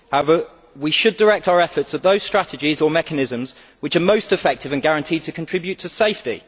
However, we should direct our efforts at those strategies or mechanisms which are most effective and guaranteed to contribute to safety.